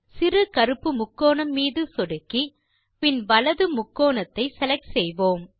சிறு கருப்பு முக்கோணம் மீது சொடுக்கி பின் வலது முக்கோணத்தை செலக்ட் செய்வோம்